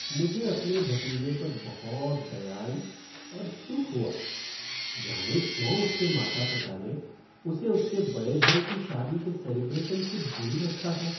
मुझे अपने भतीजे पर बहुत दया आई और दुख हुआ, जाने क्यों उसके माता पिता ने उसे उसके बड़े भाई की शादी के सेलिब्रेशन दूर रखा था।